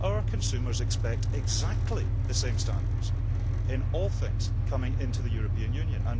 Our consumers expect exactly the same standards in all things coming into the European Union.